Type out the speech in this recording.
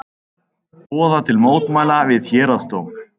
Boða til mótmæla við Héraðsdóm